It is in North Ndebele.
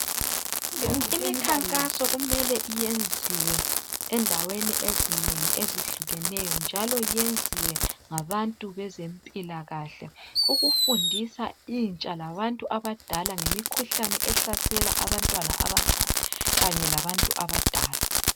Imikhankaso kumele iyenziwe endaweni ezinengi ezihlukeneyo njalo yenziwe ngabantu bezempilakahle ukufundisa intsha labantu abadala ngemikhuhlane ehlasela abantwana abancane kanye labantu abadala.